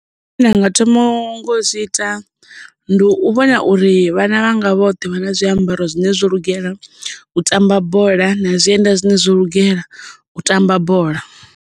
Zwine nda nga thoma nga u zwi ita ndi u vhona uri vhana vhanga vhoṱhe vha na zwiambaro zwine zwo lugela u tamba bola na zwienda zwine zwo lugela u tamba bola.